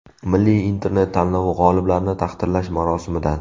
Milliy internet tanlovi g‘oliblarini taqdirlash marosimidan.